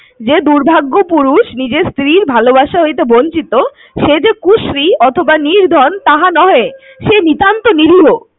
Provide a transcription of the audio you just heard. যে দুর্ভাগ্য পুরুষ নিজের স্ত্রীর ভালোবাসা হইতে বঞ্চিত সেযে কুশ্রী অথবা নির্ধন তাহা নহে সে নিতান্ত নিরীহ।